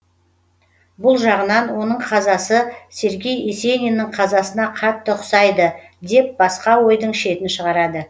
бұл жағынан оның қазасы сергей есениннің қазасына қатты ұқсайды деп басқа ойдың шетін шығарады